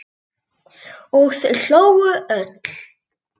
Og þau hlógu öll.